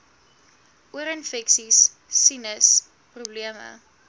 oorinfeksies sinus probleme